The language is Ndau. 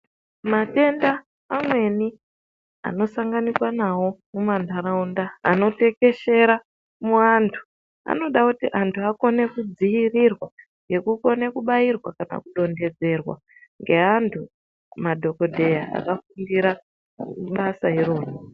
Matenda amweni anosanganiswa nawo mumantaraunda anotekeshera muantu. Anoda kuti antu akone kudziirirwa ngekukone kubairwa kana kudonhedzerwa ngeantu madhokodheya akafundira basa irori.